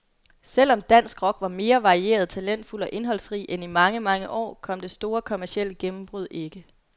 Selv om dansk rock var mere varieret, talentfuld og indholdsrig end i mange, mange år, kom det store kommercielle gennembrud ikke.